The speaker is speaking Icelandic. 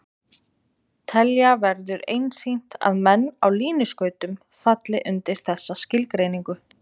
Telja verður einsýnt að menn á línuskautum falli undir þessa skilgreiningu.